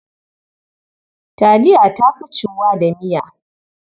Taliya ta fi ciwuwa da miya.